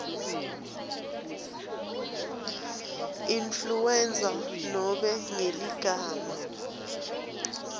influenza nobe ngeligama